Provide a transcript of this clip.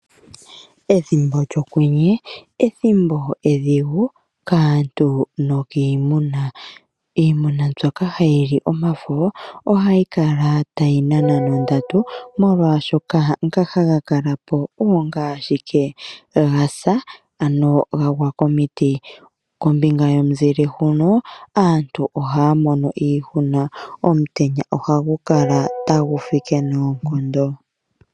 Ethimbo lyOkwenye ethimbo edhigu kaantu nokiimuna. Iimuna mbyoka hayi li omafo ohayi kala tayi nana nondatu, molwashoka ngoka haga kala po oongoka ashike ga sa, ano ga gwa komiti. Kombinga yomuzile huno, aantu ohaya mono iihuna. Omutenya ohagu kala tagu fike noonkondo.